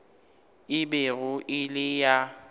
e bego e le ya